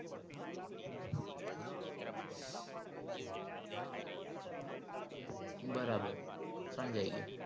બરાબર સમજાય ગયું